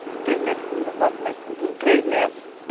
Três metros de fundura, quatro metros de fundura, três metros